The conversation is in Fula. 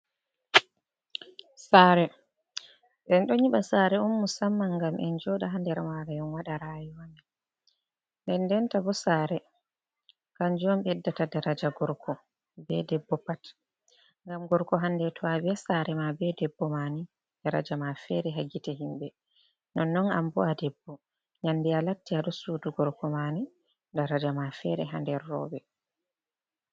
Sare, en ɗo nyiɓa sare on musamman ngam en joɗa ha nder mare enwaɗa rayuwa, nden ndenta bo sare kanju on ɓeddata daraja gorko be debbo pat. ngam gorko handeto a be sare ma be debbo mani daraja ma fere hagite himɓe, non non am bo’a debbo nyande a latti a ɗo sudu gorko mani daraja ma fere hander roɓe.